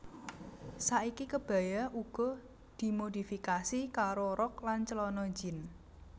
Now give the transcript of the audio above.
Saiki kebaya uga dhimodifikasi karo rok lan clana jean